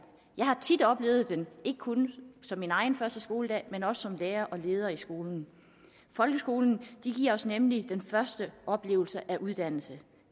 jeg har tit oplevet den ikke kun som min egen første skoledag men også som lærer og leder i skolen folkeskolen giver os nemlig den første oplevelse af uddannelse